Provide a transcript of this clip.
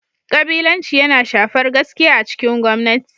Kabilanci yana shafar gaskiya a cikin gwamnati.